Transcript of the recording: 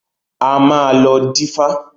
A máa lọ dífá.